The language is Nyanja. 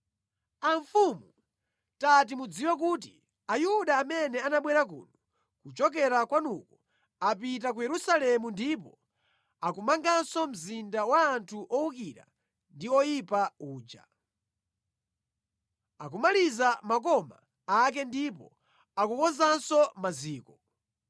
Amfumu tati mudziwe kuti Ayuda amene anabwera kuno kuchokera kwanuko apita ku Yerusalemu ndipo akumanganso mzinda wa anthu owukira ndi oyipa uja. Akumaliza makoma ake ndipo akukonzanso maziko.